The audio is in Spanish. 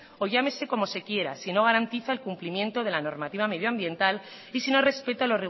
o llámese como se quiera si no garantiza el cumplimiento de la normativa medioambiental y si no respeta